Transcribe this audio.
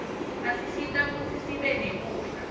asisita kutsi sibe nekudla